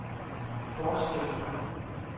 forskelle